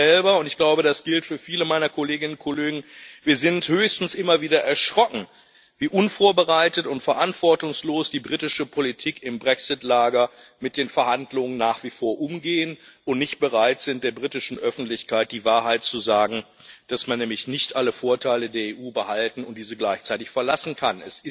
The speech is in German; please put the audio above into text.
Ich selber und ich glaube, das gilt für viele meiner Kolleginnen und Kollegen bin höchstens immer wieder erschrocken, wie unvorbereitet und verantwortungslos die britische Politik im Brexit Lager mit den Verhandlungen nach wie vor umgeht und nicht bereit ist, in der britischen Öffentlichkeit die Wahrheit zu sagen, dass man nämlich nicht alle Vorteile der EU behalten und diese gleichzeitig verlassen kann.